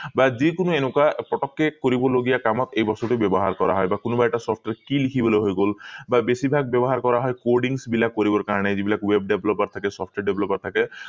বা যিকোনো এনেকুৱা পতকে কৰিব লগীয়া কামত এই বস্তুটো ব্যৱহাৰ কৰা হয় বা কোনোবা এটা software কি লিখিবলৈ হৈ গল বা বেছি ভাগ ব্যৱহাৰ কৰা হয় recordings বিলাক কৰিবৰ কাৰণে যিবিলাক web develop ত থাকে software develop ত থাকে